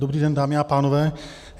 Dobrý den, dámy a pánové.